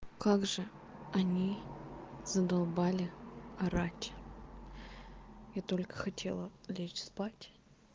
как же они задолбали орать я только хотела лечь спать